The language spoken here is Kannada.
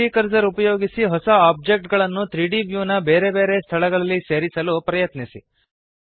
ಈಗ 3ದ್ ಕರ್ಸರ್ ಉಪಯೋಗಿಸಿ ಹೊಸ ಓಬ್ಜೆಕ್ಟ್ ಗಳನ್ನು 3ದ್ ವ್ಯೂನ ಬೇರೆ ಬೇರೆ ಸ್ಥಳಗಳಲ್ಲಿ ಸೇರಿಸಲು ಪ್ರಯತ್ನಿಸಿ